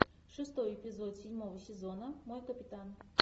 шестой эпизод седьмого сезона мой капитан